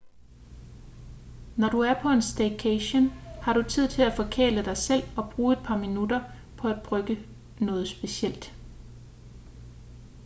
når du er på en staycation har du tid til at forkæle dig selv og bruge et par ekstra minutter på at brygge noget specielt